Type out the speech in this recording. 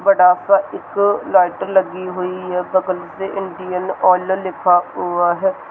बड़ा से इक लैटर लगी हुई है बगल में इंडियन ऑयल लिखा हुआ है।